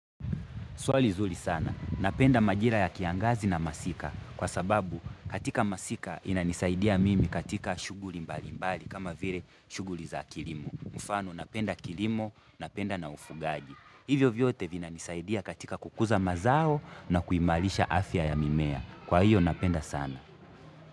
Swali zuri sana. Napenda majira ya kiangazi na masika kwa sababu katika masika inanisaidia mimi katika shughuli mbali mbali kama vile shughuli za kilimo. Mfano napenda kilimo, napenda na ufugaji. Hivyo vyote vinanisaidia katika kukuza mazao na kuimarisha afya ya mimea. Kwa hiyo napenda sana.